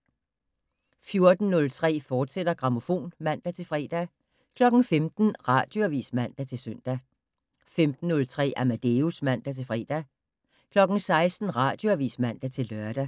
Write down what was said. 14:03: Grammofon, fortsat (man-fre) 15:00: Radioavis (man-søn) 15:03: Amadeus (man-fre) 16:00: Radioavis (man-lør)